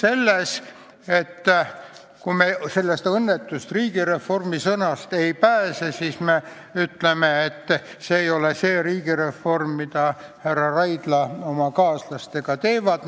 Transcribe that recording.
Näiteks selles, et kui me sellest õnnetust riigireformi sõnast ei pääse, siis me ütleme, et see ei ole see riigireform, mida härra Raidla oma kaaslastega soovitab.